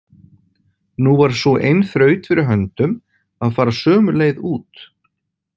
Nú var sú ein þraut fyrir höndum að fara sömu leið út.